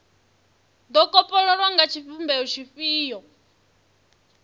do kopololwa nga tshivhumbeo tshifhio